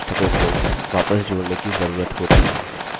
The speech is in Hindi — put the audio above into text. हम इसे रिफ्रेश करते हैं और ऐक्सेस स्वीकृत है